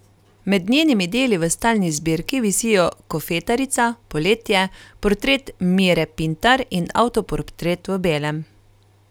Med njenimi deli v stalni zbirki visijo Kofetarica, Poletje, Portret Mire Pintar in Avtoportret v belem.